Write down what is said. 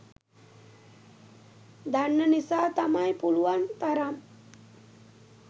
දන්න නිසා තමයි පුලුවන් තරම්